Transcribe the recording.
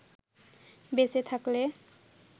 বেঁচে থাকলে